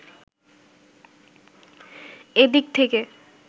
এদিক থেকে